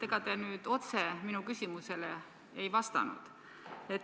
Ega te nüüd otse minu küsimusele ei vastanud.